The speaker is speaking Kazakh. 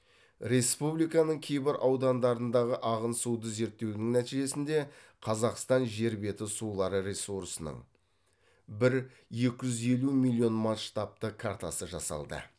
республиканың кейбір аудандарындағы ағын суды зерттеудің нәтижесінде қазақстан жер беті сулары ресурсының бір екі жүз елу миллион масштабты картасы жасалды